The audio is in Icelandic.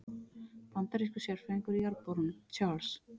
Bandarískur sérfræðingur í jarðborunum, Charles